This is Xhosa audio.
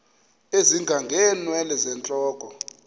ezinga ngeenwele zentloko